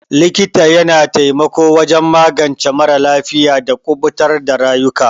Likita ya na taimako wajen magance mara lafiya da kubutar da rayuka.